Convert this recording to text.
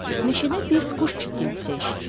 Meşədə bir quş cikiltisi eşitdi.